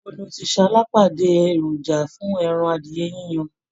Ibo ni o ti ṣalábàápàdé èròjà fún ẹran adìyẹ yiyan